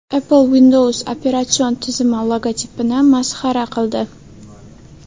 Apple Windows operatsion tizimi logotipini masxara qildi.